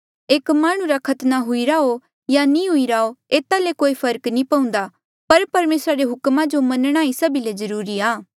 एक माह्णुं रा खतना हुईरा हो या नी हुईरा हो एता ले कोई फर्क नी पउन्दा पर परमेसरा रे हुक्मा जो मनणा ही सभी ले जरूरी आ